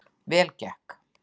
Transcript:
Vel gekk